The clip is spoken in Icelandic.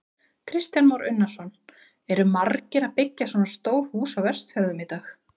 Kristján Már Unnarsson: Eru margir að byggja svona stór hús á Vestfjörðum í dag?